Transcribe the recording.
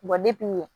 ɲɛ